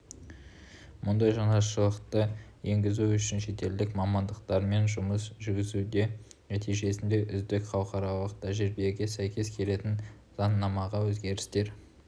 мұндай жаңашылдықты енгізу үшін шетелдік мамандармен жұмыс жүргізілуде нәтижесінде үздік халықаралық тәжірибеге сәйкес келетін заңнамаға өзгерістер